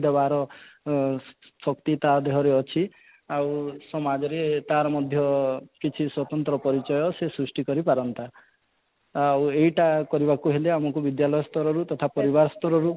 ଦେବାର ଆଁ ଶକ୍ତି ତା ଦେହରେ ଅଛି ଆଉ ସମାଜରେ ତା'ର ମଧ୍ୟ କିଛି ସ୍ୱତନ୍ତ୍ର ପରିଚୟ ଅଛି ସୃଷ୍ଟି କରି ପାରନ୍ତା ଆଉ ଏଇଟା କରିବାକୁ ହେଲେ ଆମକୁ ବିଦ୍ୟାଳୟ ସ୍ତରରୁ ତଥା ପରିବାର ସ୍ତରରୁ